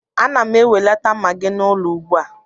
Ana m enwelata Magị n'ụlọ ugbua